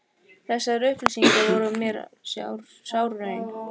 Þessar auglýsingar voru mér sár raun.